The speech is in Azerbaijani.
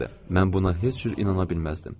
Mən buna heç cür inana bilməzdim.